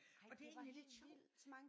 Det var helt sjovt